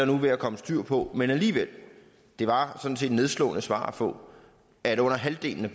nu ved at komme styr på men alligevel det var sådan set et nedslående svar at få at under halvdelen af